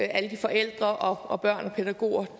alle de forældre og børn og pædagoger